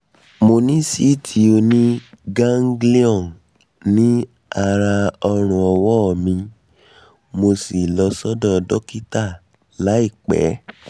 mo ní síìtì oní-ganglion ní àárí ọrùn ọwọ́ mi mo sì lọ sọ́dọ̀ dọ́kítà láìpẹ́